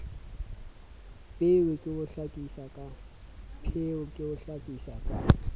pheo ke ho hlakisa ka